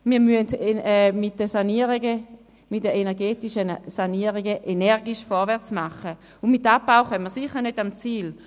Wir müssen mit den energetischen Sanierungen energisch vorwärts machen, und mit Abbau kommen wir sicher nicht ans Ziel.